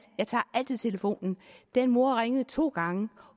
jeg tager altid telefonen den mor ringede to gange og